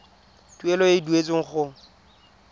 tuelo e e duetsweng go